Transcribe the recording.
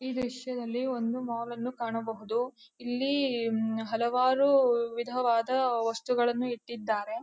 ಈ ದೃಶ್ಯದಲ್ಲಿ ಒಂದು ಮಾಲ್ ಅನ್ನು ಕಾಣಬಹುದು. ಇಲ್ಲಿ ಅಹ್ ಅಹ್ ಹಲವಾರು ವಿಧವಾದ ವಸ್ತುಗಳನ್ನು ಇಟ್ಟಿದ್ದಾರೆ.